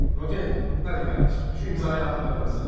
Rodya, gəl qardaşım, bu imzayı at ki pulumuzu alaq.